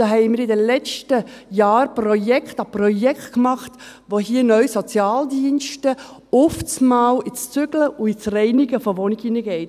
– Da haben wir in den letzten Jahren Projekt um Projekt gemacht, bei denen Sozialdienste neu auf einmal ins Zügeln und ins Reinigen von Wohnungen reingehen.